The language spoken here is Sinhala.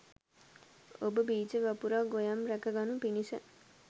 ඔබ බීජ වපුරා, ගොයම් රැක ගනු පිණිස